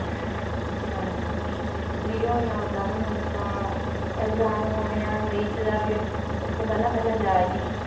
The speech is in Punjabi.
ਹਾਂਜੀ free ਹੋ ਹੀ ਉਹਦਾ ਵੀ ਹੁਣ ਤਾਂ exam ਹੋਣੇ ਆ may ਚ ਜਾਕੇ ਉਸਤੋਂ ਪਹਿਲਾਂ ਪਹਿਲਾਂ ਜਾ ਆਈਏ।.